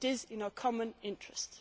it is in our common interest.